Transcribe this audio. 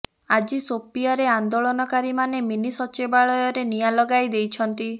ଆଜି ଶୋପିୟାରେ ଆନ୍ଦୋଳନକାରୀମାନେ ମିନି ସଚିବାଳୟରେ ନିଆଁ ଲଗାଇ ଦେଇଛନ୍ତି